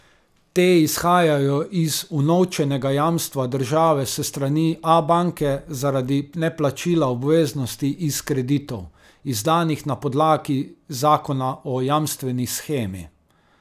Te izhajajo iz unovčenega jamstva države s strani Abanke zaradi neplačila obveznosti iz kreditov, izdanih na podlagi zakona o jamstveni shemi.